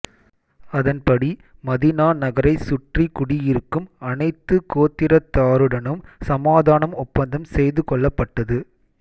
அதன்படி மதீனா நகரைச் சுற்றி குடியிருக்கும் அனைத்துக் கோத்திரத்தாருடனும் சமாதான ஒப்பந்தம் செய்துகொள்ளப்பட்டது